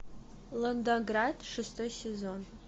лондонград шестой сезон